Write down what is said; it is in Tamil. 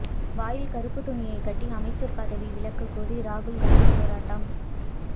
வாயில் கருப்பு துணியை கட்டி அமைச்சர் பதவி விலகக் கோரி ராகுல்காந்தி போராட்டம்